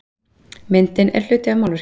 Myndin er hluti af málverkinu